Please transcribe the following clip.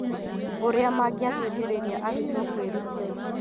Ũria mangĩteithĩrĩria arutwo kwĩrutĩra.